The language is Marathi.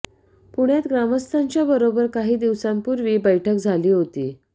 पुण्यात ग्रामस्थांच्या बरोबर काही दिवसांपूर्वी बैठक झाली होती